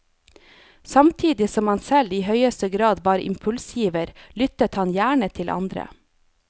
Samtidig som han selv i høyeste grad var impulsgiver, lyttet han gjerne til andre.